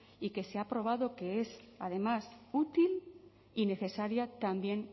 y que se ha probado que es además útil y necesaria también